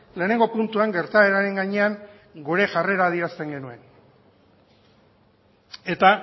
lehenengo puntuan gertaeraren gainean gure jarrera adierazten genuen eta